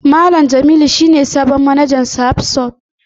Malam Jamilu shi ne sabon manajan Sahad stores